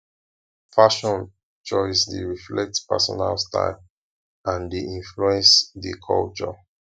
fashion choice dey reflect personal style and dey influence dey culture